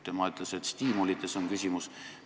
Tema ütles, et stiimulites on küsimus.